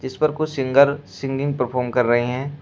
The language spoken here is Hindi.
इपर कुछ सिंगर सिंगिंग परफॉर्म कर रहे हैं।